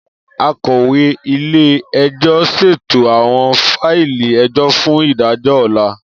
Akọwe ile-ẹjọ ṣeto awọn faili ẹjọ fun idajọ ọla.